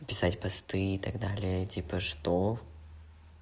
писать посты и так далее типа что